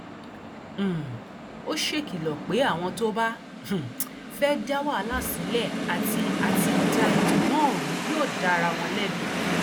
um ó ṣèkìlọ pé àwọn tó bá um fẹẹ da wàhálà sílẹ àti àti da ètò náà rú yóò da ara wọn lẹbi